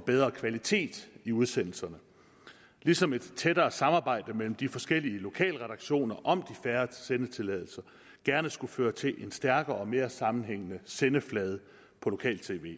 bedre kvalitet i udsendelserne ligesom et tættere samarbejde mellem de forskellige lokalredaktioner om de færre sendetilladelser gerne skulle føre til en stærkere og mere sammenhængende sendeflade på lokal tv